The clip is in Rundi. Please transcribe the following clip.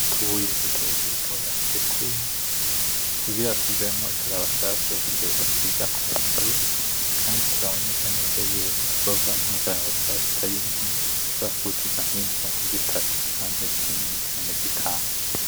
Utubuye dutoduto basekura kugira tuvemwo ikarabasase basiga ku nzu, kandi turaboneka neza yuko tuzovamwo ikarabasase itari nke yoshobora kuzuza inzu nka zitatu; canke zine; canke zitanu.